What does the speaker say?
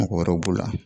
Mɔgɔ wɛrɛw b'o la